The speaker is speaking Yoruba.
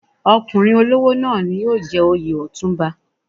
Ọkùnrin olówó náà ni yóò jẹ oyè Ọ̀túnba.